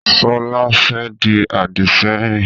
Sọlá fẹ́ di Àdìsẹ́yìn